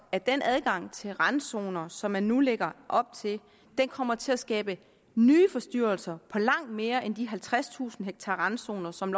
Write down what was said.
at den adgang til randzoner som man nu lægger op til kommer til at skabe nye forstyrrelser i langt mere end de halvtredstusind ha randzoner som